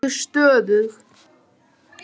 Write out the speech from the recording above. Hún er nokkuð stöðug.